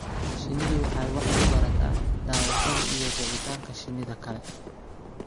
Shinnidu waxay wax ku barataa daawashada iyo raacitaanka shinnida kale.